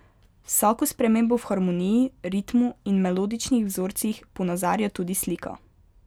Vsako spremembo v harmoniji, ritmu in melodičnih vzorcih ponazarja tudi slika.